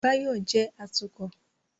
Báyọ̀ jẹ́ atukọ̀